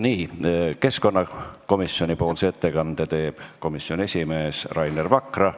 Nii, keskkonnakomisjoni ettekande teeb komisjoni esimees Rainer Vakra.